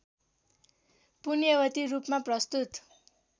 पुण्यवती रूपमा प्रस्तुत